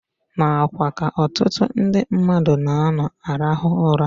N'akwa ka ọtụtụ ndị mmadụ na-anọ arahụ ụra.